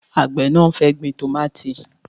Àgbẹ̀ náà fẹ́ gbin tómáatí